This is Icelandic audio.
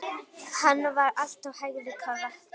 Hann var alltaf hægri krati!